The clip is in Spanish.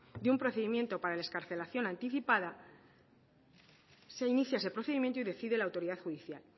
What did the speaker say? de un procedimiento para la excarcelación anticipada se inicia ese procedimiento y decide la autoridad judicial